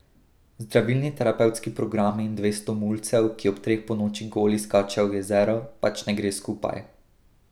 Zdravilni terapevtski programi in dvesto mulcev, ki ob treh ponoči goli skačejo v jezero, pač ne gre skupaj.